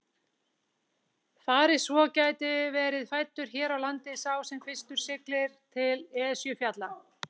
Fari svo gæti verið fæddur hér á landi sá sem fyrstur siglir til Esjufjalla.